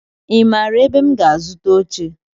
I maara ebe m ga-azuta oche?